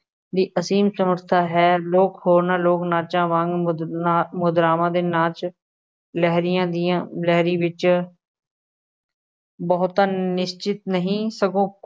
ਦੀ ਅਸੀਮ ਸਮਰੱਥਾ ਹੈ, ਲੋਕ ਹੋਰਨਾਂ ਲੋਕ ਨਾਚਾਂ ਵਾਂਗ ਮੁਦਰ ਮੁਦਰਾਵਾਂ ਦੇ ਨਾਚ, ਲਹਿਰੀਆ ਦੀਆਂ ਲਹਿਰੀ ਵਿੱਚ ਬਹੁਤਾ ਨਿਸ਼ਚਿਤ ਨਹੀਂ, ਸਗੋਂ